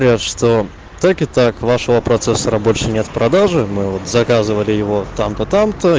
что так и так вашего процессора больше нет в продаже мы заказывали его там татам